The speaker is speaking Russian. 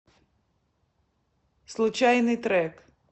случайный трек